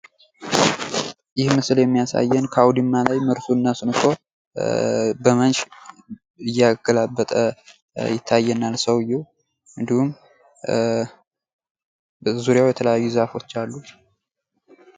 ይህ ምስል የሚያሳየን አውድማ ላይ ሰብሉን ነስንሶ በመንሽ እያገላበጠ ነው። እንዲሁም በዙሪያው ዛፎች አሉ።